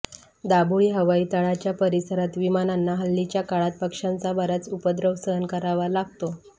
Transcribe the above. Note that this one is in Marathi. दाबोळी हवाई तळाच्या परिसरात विमानांना हल्लीच्या काळात पक्ष्यांचा बराच उपद्रव सहन करावा लागतो